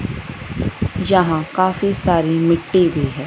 यहां काफी सारी मिट्टी भी है।